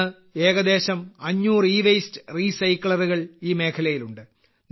ഇന്ന് ഏകദേശം 500 ഇവേസ്റ്റ് റീസൈക്ലറുകൾ ഈ മേഖലയിലുണ്ട്